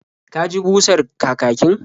Ka ji busar kakakin?